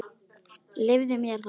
Leyfðu mér það